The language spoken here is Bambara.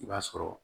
I b'a sɔrɔ